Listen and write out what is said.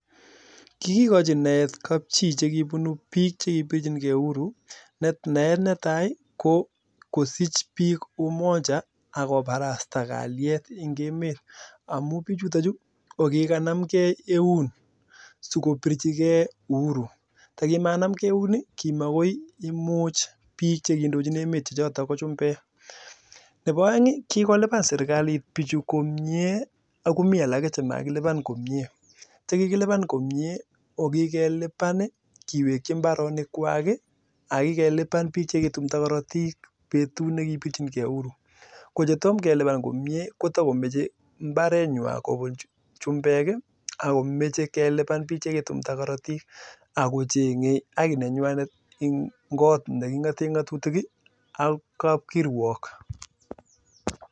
Naet netai kokosich bik (umoja) akoparasta kaliet eng emet amu bijutachu kikanamkei eun sikopirchikei uhuru nebo aeng kikolipan sirkalit bichu komnye komi alake chemakilipan komnyee kikiwekchi mbaronik kwak ko chetomo kelipan komnyee kotakomeche mbaret ngwaa akelipan icheket chekitumta karatik akochenge haki nenyanet eng kot nekingatee ngatutik ak kapkirwok